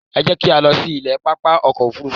Ẹ jẹ́ kí á lọ sí ilé pápá ọkọ̀ Òfurufú.